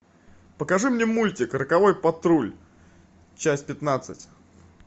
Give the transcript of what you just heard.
покажи мне мультик роковой патруль часть пятнадцать